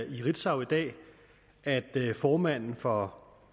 i ritzau i dag at formanden for